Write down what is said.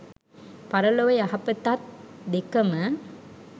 පරලොව යහපතත් දෙකම